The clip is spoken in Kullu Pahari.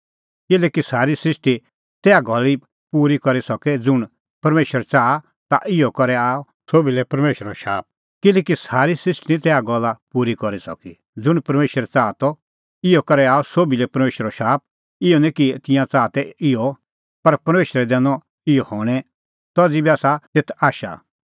किल्हैकि सारी सृष्टी निं तैहा गल्ला पूरी करी सकी ज़ुंण परमेशर च़ाहा त इहअ करै आअ सोभी लै परमेशरो शाप इहअ निं कि तिंयां च़ाहा तै इहअ पर परमेशरै दैनअ इहअ हणैं तज़ी बी आसा तेथ आशा